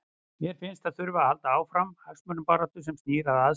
Mér finnst að það þurfi að halda áfram hagsmunabaráttu sem snýr að aðstöðu.